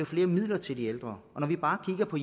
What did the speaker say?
flere midler til de ældre og når vi bare kigger på